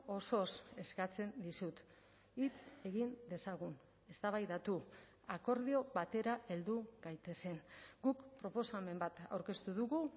osoz eskatzen dizut hitz egin dezagun eztabaidatu akordio batera heldu gaitezen guk proposamen bat aurkeztu dugu